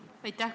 Aitäh!